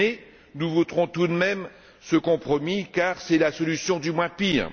Mais nous voterons tout de même ce compromis, car c'est la solution du moins pire.